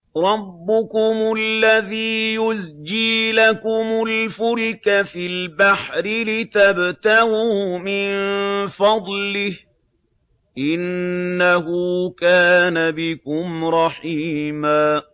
رَّبُّكُمُ الَّذِي يُزْجِي لَكُمُ الْفُلْكَ فِي الْبَحْرِ لِتَبْتَغُوا مِن فَضْلِهِ ۚ إِنَّهُ كَانَ بِكُمْ رَحِيمًا